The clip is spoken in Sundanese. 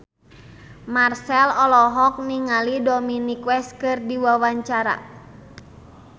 Marchell olohok ningali Dominic West keur diwawancara